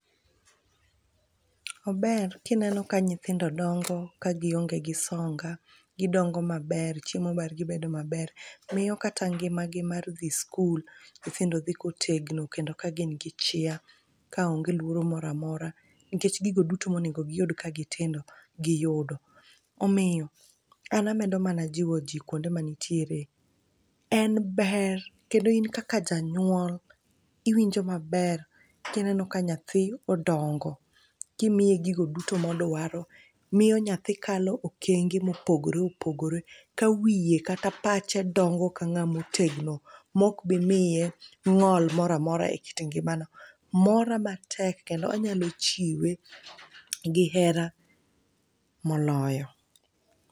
Ober kineno ka nyithindo dongo ka gionge gi songa. Gidongo maber, chiemo margi bedo maber. Miyo kata ngimagi mar dhi skul, nyithindo dhi kotegno kendo ka gin gi chia. Ka onge luoro mora mora nikech gigo duto monego giyud ka gitindo, giyudo. Omiyo, an amedo mana jiwo ji kwonde manitiere, en ber kendo in kaka janyuol iwinjo maber kineno ka nyathi odongo kimiye gigo duto modwaro. Miyo nyathi kalo okenge mopogore opogore ka wiye kata pache dongo ka ng'a motegno mok bimiye ng'ol mora mora e kit ngimane. Mora matek kendo anyalo chiwe gi hera moloyo.